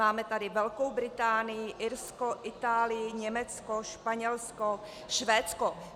Máme tady Velkou Británii, Irsko, Itálii, Německo, Španělsko, Švédsko.